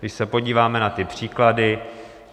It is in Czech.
Když se podíváme na ty příklady...